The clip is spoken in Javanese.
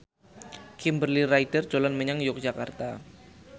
Kimberly Ryder dolan menyang Yogyakarta